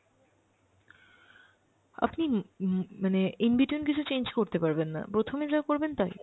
আপনি um um মানে in-between কিছু change করতে পারবেন না, প্রথমে যা করবেন তাই।